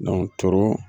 toro